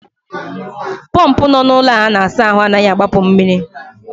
Pọmpụ nọ n'ụlọ a na-asa ahụ anaghị agbapụ mmiri.